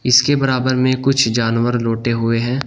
इसके बराबर में कुछ जानवर लोटे हुए हैं।